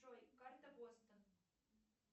джой карта бостон